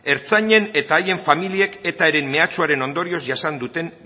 ertzainen eta haiek familiek etaren mehatxuaren ondorioz jasan duten